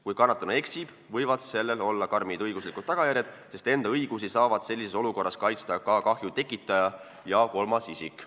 Kui kannatanu eksib, võivad sellel olla karmid õiguslikud tagajärjed, sest enda õigusi saavad sellises olukorras kaitsta ka kahju tekitaja ja kolmas isik.